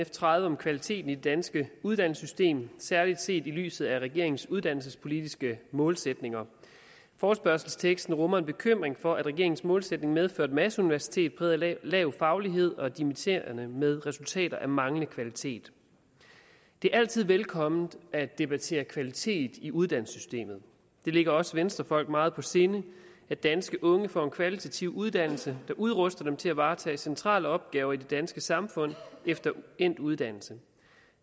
f tredive om kvaliteten i det danske uddannelsessystem særligt set i lyset af regeringens uddannelsespolitiske målsætninger forespørgselsteksten rummer en bekymring for at regeringens målsætning medfører et masseuniversitet præget af lav faglighed og dimitterende med resultater af manglende kvalitet det er altid velkomment at debattere kvalitet i uddannelsessystemet det ligger os venstrefolk meget på sinde at danske unge får en kvalitativ uddannelse der udruster dem til at varetage centrale opgaver i det danske samfund efter endt uddannelse